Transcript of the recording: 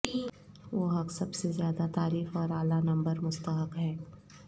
وہ حق سب سے زیادہ تعریف اور اعلی نمبر مستحق ہیں